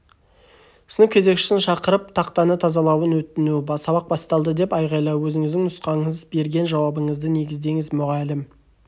сынып кезекшісін шақырып тақтаны тазалауын өтіну сабақ басталды деп айғайлау өзіңіздің нұсқаңыз берген жауабыңызды негіздеңіз мұғалім